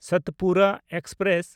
Satpura express